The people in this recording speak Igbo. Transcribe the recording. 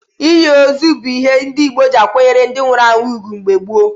Inyi ozu bụ ìhè ndị Igbo ji akwanyere ndi nwụrụ anwụ ugwu mgbe gboo.